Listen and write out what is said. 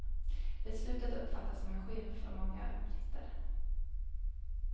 Beslutet uppfattas som en skymf av många britter.